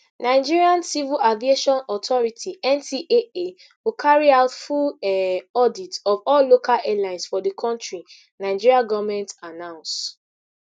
nigerian civil aviation authority ncaa go carry out full um audit of all local airlines for di kontri nigeria goment announce